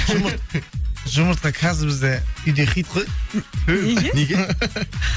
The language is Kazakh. жұмыртқа қазір бізде үйде хит қой неге